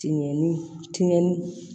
Tiŋɛni tiŋɛni